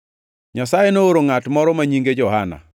Nyasaye nooro ngʼat moro ma nyinge Johana.